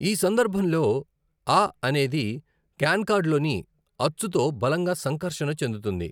ఈ సందర్భంలో అ అనేది కాన్కార్డ్లోని అచ్చుతో బలంగా సంకర్షణ చెందుతుంది.